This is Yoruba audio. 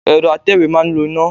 Ẹ̀rọ atẹ̀wé ma ń lo iná.